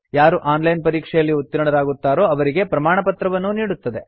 ಯಾರು online ಪರೀಕ್ಷೆಯಲ್ಲಿ ಉತ್ತೀರ್ಣರಾಗುತ್ತಾರೋ ಅವರಿಗೆ ಪ್ರಮಾಣಪತ್ರವನ್ನೂ ನೀಡುತ್ತದೆ